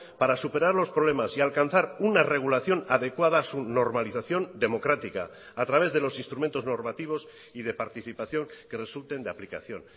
para superar los problemas y alcanzar una regulación adecuada a su normalización democrática a través de los instrumentos normativos y de participación que resulten de aplicación